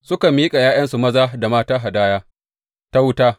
Suka miƙa ’ya’yansu maza da mata hadaya ta wuta.